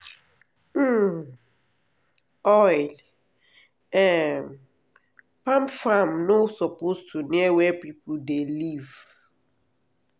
um oil um palm farm no suppose to near where people dey live.